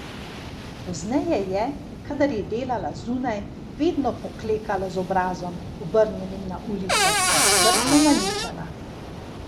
Pozneje je, kadar je delala zunaj, vedno poklekala z obrazom, obrnjenim na ulico, in skrbno naličena.